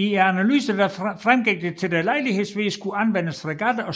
I analysen fremgik det at der Lejlighedsvis kunne anvendes fregatter og